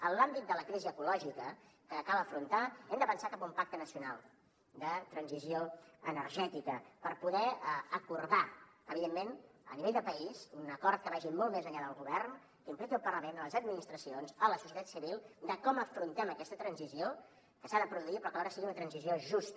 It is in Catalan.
en l’àmbit de la crisi ecològica que cal afrontar hem de pensar cap a un pacte nacional de transició energètica per poder acordar evidentment a nivell de país un acord que vagi molt més enllà del govern que impliqui el parlament les administracions la societat civil de com afrontem aquesta transició que s’ha de produir però que alhora sigui una transició justa